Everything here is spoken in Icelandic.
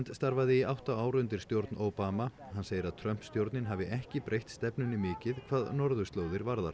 starfaði í átta ár undir stjórn Obama hann segir að Trump stjórnin hafi ekki breytt stefnunni mikið hvað norðurslóðir varðar